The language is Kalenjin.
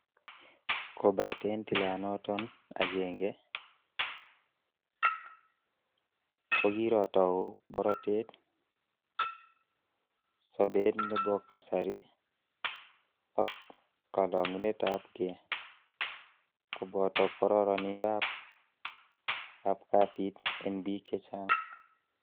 Kobaten tilanoton agenge, kokirotou borotet, sobet nebokasari ak kolongunetab gee, koboto kororonindab ab kasit en bik chechang.